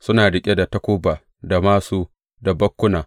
Suna riƙe da takuba, da māsu, da bakkuna.